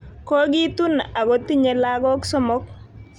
Kogitun ako tinye lagok somok